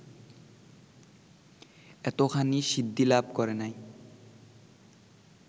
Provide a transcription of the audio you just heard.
এতখানি সিদ্ধিলাভ করে নাই